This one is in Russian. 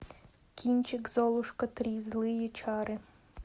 кинчик золушка три злые чары